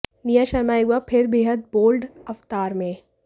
निया शर्मा एक बार फिर बेहद बोल्ड अवतार में